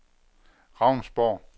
Ravnsborg